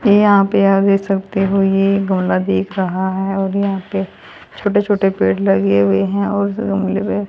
यहां पे आप देख सकते हो ये गमला दिख रहा है और यहां पे छोटे छोटे पेड़ लगे हुए हैं और